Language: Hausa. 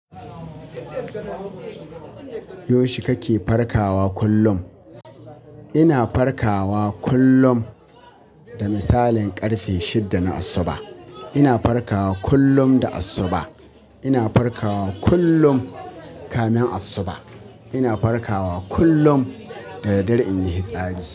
Yaushe kake farkawa kullum? Ina farkawa kullum da misalin ƙarfe shida na asuba. Ina farkawa kullum da asuba. Ina farkawa kullum kamin asuba. Ina farkawa kullum dadaddare in yi hitsari.